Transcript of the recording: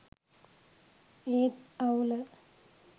ඒත් අවුල